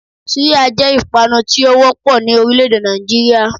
Súyà jé ìpanu tí ó wópò ní orílè èdè Nàìjíríà